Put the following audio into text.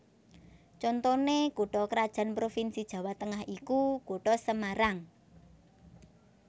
Contoné kutha krajan provinsi Jawa Tengah iku Kutha Semarang